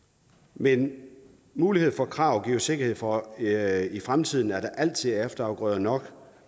men muligheden for krav giver jo en sikkerhed for at der i fremtiden altid er efterafgrøder nok